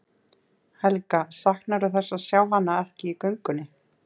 Helga: Saknarðu þess að sjá hana ekki í göngunni?